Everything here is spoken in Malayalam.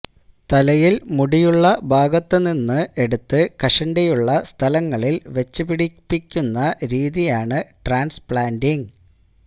തലയില് മുടുിയുള്ള ഭാഗത്തുനിന്ന് എടുത്ത് കഷണ്ടിയുള്ള സ്ഥലങ്ങളില് വച്ച് പിടിപ്പിക്കുന്ന രീതിയാണ് ട്രാന്സ്പ്ലാന്റിങ്